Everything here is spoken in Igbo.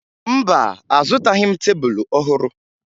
Mba, azụtaghị m tebulu ọhụrụ